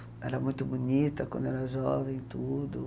Era muito bonita quando era jovem, tudo.